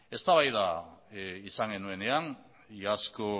eztabaida izan genuenean iazko